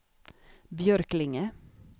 Björklinge